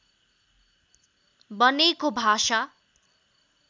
बनेको भाषा